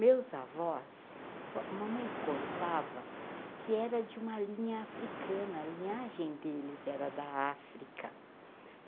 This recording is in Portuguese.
Meus avós, a mamãe contava que era de uma linha africana, a linhagem deles era da África.